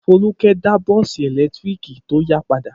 Folúkẹ́ dá bọ́ọ́sì ẹ̀lẹ́tíríkì tó yá padà?